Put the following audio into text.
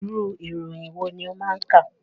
Irú ìròyìn wòó ni ọ máa ń kà